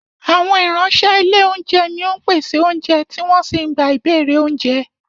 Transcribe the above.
Àwọn ìránṣẹ́ ilé oúnjẹ ni ó ń pèsè oúnjẹ tí wọ́n sì ń gba ìbéèrè oúnjẹ